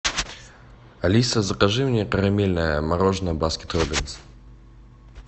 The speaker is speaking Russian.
алиса закажи мне карамельное мороженое баскин роббинс